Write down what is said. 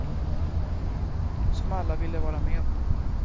Som alla ville vara med på.